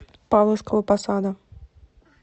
павловского посада